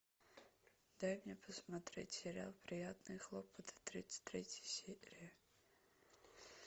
дай мне посмотреть сериал приятные хлопоты тридцать третья серия